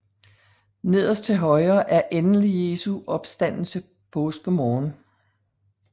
Nederst til højre endelig Jesu opstandelse påskemorgen